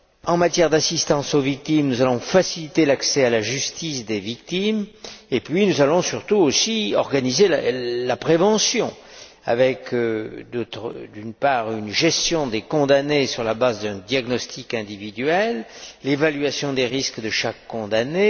En matière d'assistance aux victimes, nous allons faciliter l'accès des victimes à la justice. Et puis, nous allons surtout aussi organiser la prévention avec, d'une part, une gestion des condamnés sur la base d'un diagnostic individuel et l'évaluation des risques de chaque condamné.